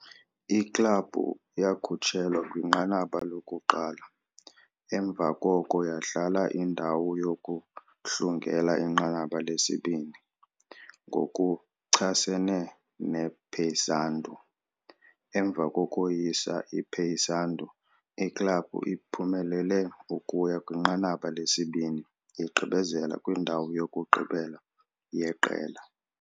Iklabhu yakhutshelwa kwinqanaba lokuqala, emva koko yadlala indawo yokuhlungela inqanaba lesibini ngokuchasene nePaysandu. Emva kokoyisa iPaysandu, iklabhu iphumelele ukuya kwinqanaba lesibini, igqibezela kwindawo yokugqibela yeqela.